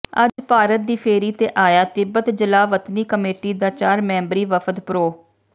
ਅੱਜ ਭਾਰਤ ਦੀ ਫੇਰੀ ਤੇ ਆਇਆ ਤਿੱਬਤ ਜਲਾਵਤਨੀ ਕਮੇਟੀ ਦਾ ਚਾਰ ਮੈਂਬਰੀ ਵਫ਼ਦ ਪ੍ਰੋ